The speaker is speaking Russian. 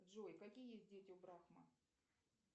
джой какие есть дети у брахма